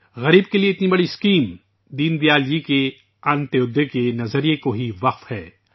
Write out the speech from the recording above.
غریبوں کے لیے اتنی بڑی اسکیم دین دیال جی کے انتودیے فلسفے کے لیے ہی وقف ہے